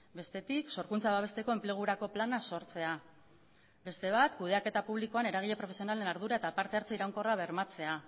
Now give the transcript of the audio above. bestetik sorkuntza babesteko enplegurako plana sortzea beste bat kudeaketa publikoan eragile profesionalen ardura eta partehartze iraunkorra bermatzea